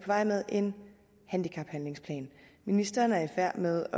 vej med en handicaphandlingsplan ministeren er i færd med